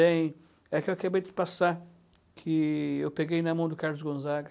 Tem, é que eu acabei de passar, que eu peguei na mão do Carlos Gonzaga.